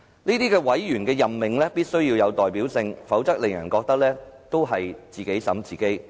這些委員的任命必須要有代表性，否則會令人覺得是"自己審自己"。